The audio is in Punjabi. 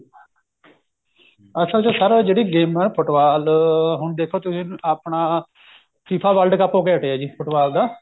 ਅਸਲ ਚ sir ਆਹ ਜਿਹੜੀ ਗੇਮਾ ਫੁਟਬਾਲ ਹੁਣ ਦੇਖੋ ਤੁਸੀਂ ਆਪਣਾ FIFA world cup ਹੋ ਕੇ ਹਟਿਆ ਜੀ ਫੁਟਬਾਲ ਦਾ